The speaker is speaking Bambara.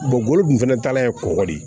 bolo kun fana taalan ye kɔgɔ de ye